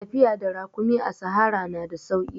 Tafiya da rakumi a sahara na da sauki.